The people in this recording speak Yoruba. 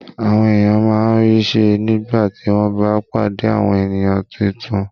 Àwọn èèyàn máa ń rí ṣe nígbà tí wọ́n bá pàdé àwọn ènìyàn tuntun